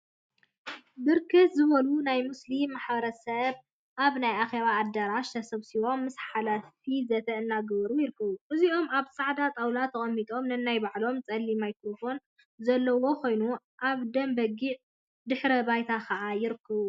ብርክት ዝበሉ ናይ ሙስሊም ማሕበረ ሰብ አብ ናይ አኬባ አደራሽ ተሰብሲቦም ምስ ሓላፊ ዘተ እናገበሩ ይርከቡ። እዚኦም አብ ፃዕዳ ጣውላ ተቀሚጦም ነናይ ባዕሎም ፀሊም ማይ ክሮፎን ዘለዎ ኮይኑ አብ ደም በጊዕ ድሕረ ባይታ ከዓ ይርከቡ።